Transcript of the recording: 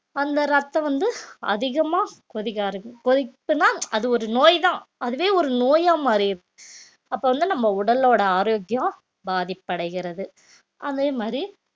அந்த ரத்தம் வந்து அதிகமா கொதிக்க ஆரம்பிக்கும் கொதித்தனா அது ஒரு நோய்தான் அதுவே ஒரு நோயா மாறிடும் அப்ப வந்து நம்ம உடலோட ஆரோக்கியம் பாதிப்படைகிறது அதே மாதிரி